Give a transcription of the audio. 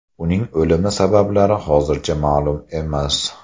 Uning o‘limi sabablari hozircha ma’lum emas.